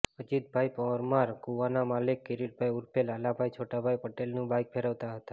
અજીતભાઈ પરમાર કૂવાના માલિક કિરીટભાઈ ઉર્ફે લાલાભાઇ છોટાભાઇ પટેલનું બાઇક ફેરવતા હતા